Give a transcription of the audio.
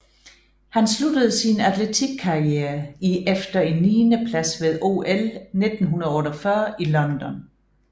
Han sluttede sin atletikkariere i efter en niende plads ved OL 1948 i London